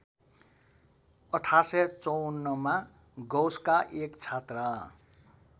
१८५४ मा गौसका एक छात्र